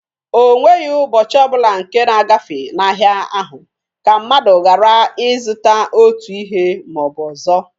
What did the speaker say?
O nweghi ụbọchị ọ bụla nke na-agafe n'ahịa ahụ ka mmadụ garaghị ịzụta otu ihe ma ọ bụ ọzọ.